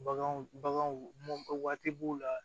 Baganw baganw waati b'u la